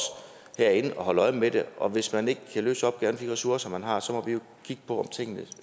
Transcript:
herinde at holde øje med det og hvis man ikke kan løse opgaven med de ressourcer man har så må vi jo kigge på om tingene